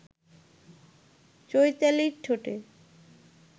চৈতালির ঠোঁটে